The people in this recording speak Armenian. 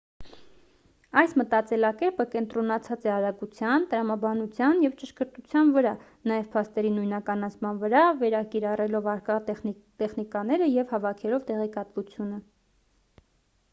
այս մտածելակերպը կենտրոնացած է արագության տրամաբանության և ճշգրտության վրա նաև փաստերի նույնականացման վրա վերակիրառելով առկա տեխնիկաները և հավաքելով տեղեկատվությունը